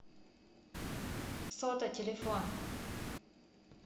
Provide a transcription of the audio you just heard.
сота телефон